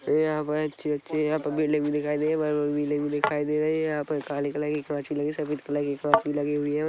ये यहां पर अच्छी अच्छी है यहां पर बिल्डिंग दिखाई दे है बड़ी बड़ी बिल्डिंग भी दिखाई दे रही है यहां पर काले कलर की कांच भी लगी है सफेद कलर की कांच भी लगी हुई है ।